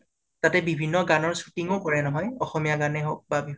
তাতে বিভিন্ন কাৰণত shooting উ কৰে নহয়। অসমীয়া গানে হওঁক বা বিভিন্ন